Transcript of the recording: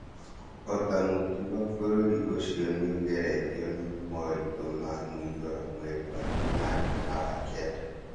Ota mũtugo, bũrũri ũcio nĩũgeretio na moritũ ma mũiyũro mweri we enana na wa kenda